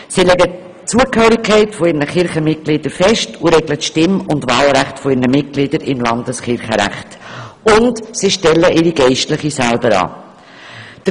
Sie legen die Zugehörigkeit ihrer Mitglieder fest und regeln das Stimm- und Wahlrecht im Landeskirchenrecht, und sie stellen ihre Geistlichen selber an.